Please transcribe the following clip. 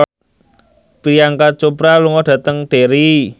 Priyanka Chopra lunga dhateng Derry